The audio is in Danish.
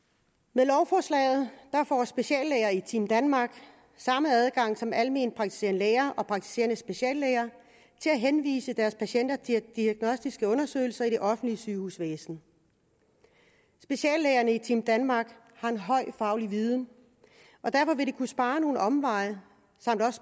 med lovforslaget får speciallæger i team danmark samme adgang som alment praktiserende læger og praktiserende speciallæger til at henvise deres patienter til diagnostiske undersøgelser i det offentlige sygehusvæsen speciallægerne i team danmark har en høj faglig viden og derfor vil det kunne spare nogle omveje